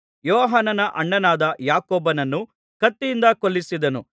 ಯೋಹಾನನ ಅಣ್ಣನಾದ ಯಾಕೋಬನನ್ನು ಕತ್ತಿಯಿಂದ ಕೊಲ್ಲಿಸಿದನು